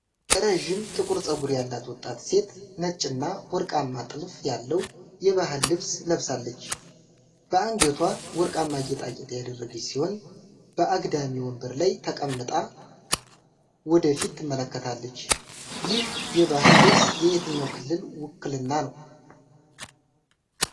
ረዥም ጥቁር ፀጉር ያላት ወጣት ሴት፣ ነጭና ወርቃማ ጥልፍ ያለው የባህል ልብስ ለብሳለች። በአንገቷ ወርቃማ ጌጣጌጥ ያደረገች ሲሆን፣ በአግዳሚ ወንበር ላይ ተቀምጣ ወደ ፊት ትመለከታለች። ይህ የባህል ልብስ የየትኛው ክልል ውክልና ነው?